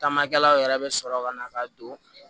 Tamakɛlaw yɛrɛ bɛ sɔrɔ ka na ka don